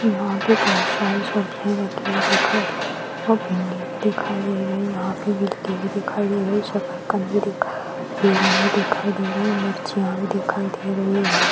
यहाँ पे बहुत सारी सब्जियां रखी हुई दिखाई दे है भिंडी भी दिखाई दे रही है यहां पे गिल्टी भी दिखाई दे रही है सरकंद भी दिखाई दे रहा हैं बैगन भी दिखाई दे रहा है मिर्चिया भी दिखाई दे रही है यहाँ पे--